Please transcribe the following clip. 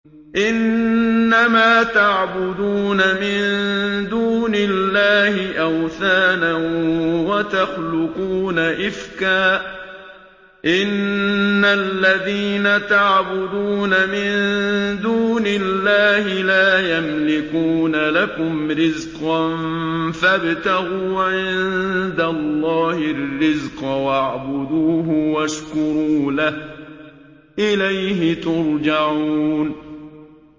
إِنَّمَا تَعْبُدُونَ مِن دُونِ اللَّهِ أَوْثَانًا وَتَخْلُقُونَ إِفْكًا ۚ إِنَّ الَّذِينَ تَعْبُدُونَ مِن دُونِ اللَّهِ لَا يَمْلِكُونَ لَكُمْ رِزْقًا فَابْتَغُوا عِندَ اللَّهِ الرِّزْقَ وَاعْبُدُوهُ وَاشْكُرُوا لَهُ ۖ إِلَيْهِ تُرْجَعُونَ